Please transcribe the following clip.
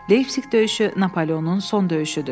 Leypsik döyüşü Napoleonun son döyüşüdür.